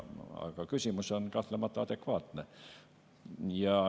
Aga küsimus on kahtlemata adekvaatne.